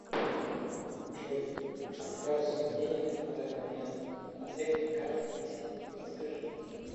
джой а какая сумма денег на данный момент на всех моих картах вместе подскажи